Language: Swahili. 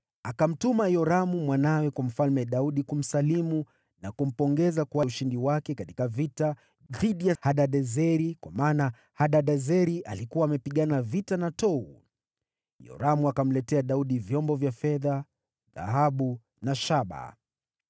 akamtuma mwanawe Yoramu kwa Mfalme Daudi kumsalimu na kumpongeza kwa ushindi wake katika vita dhidi ya Hadadezeri, kwa kuwa Hadadezeri alikuwa amepigana vita na Tou. Yoramu akamletea Daudi vyombo vya fedha, dhahabu na shaba.